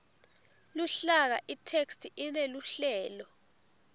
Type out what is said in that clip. luhlaka itheksthi ineluhlelo